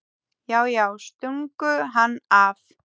Já, já, stungu hann af!